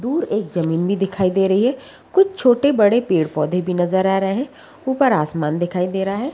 दूर एक जमीन भी दिखाई दे रही है। कुछ छोटे-बड़े पेड़-पौधे भी नजर आ रहे हैं। ऊपर आसमान दिखाई दे रहा है।